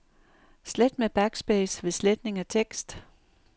Slet med backspace ved sletning af tekst.